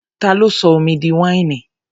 Ta ló sọ omi di wáìnì?